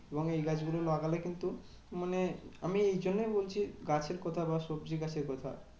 এবং এই গাছগুলো লাগালে কিন্তু মানে আমি এই জন্যেই বলছি গাছের কথা বা সবজির গাছের কথা